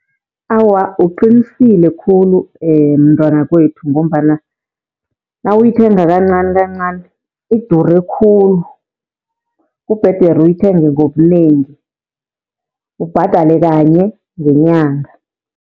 Awa, uqinisile khulu mntwana wakwethu, ngombana nawuyithenga kancani kancani idure khulu, Kubhedere uyithenge ngobunengi ubhadale kanye ngenyanga.